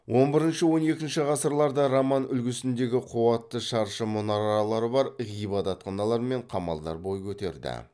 он бірінші он екінші ғасырларда роман үлгісіндегі қуатты шаршы мұнаралары бар ғибадатханалар мен қамалдар бой көтерді